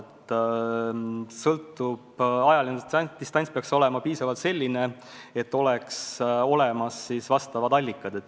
See sõltub paljudest asjadest, aga ajaline distants peaks olema selles mõttes piisav, et juba on olemas teemakohased allikad.